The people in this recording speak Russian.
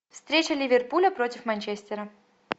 встреча ливерпуля против манчестера